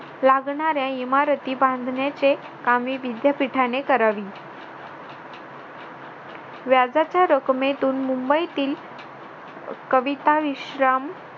लागणाऱ्या इमारतीचे कामे विद्यापीठाने करावी व्याजाच्या रकमेतून मुंबईतील कविता विश्राम